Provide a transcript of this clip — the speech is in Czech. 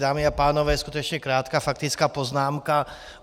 Dámy a pánové, skutečně krátká faktická poznámka.